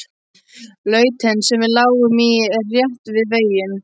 Lautin sem við lágum í er rétt við veginn.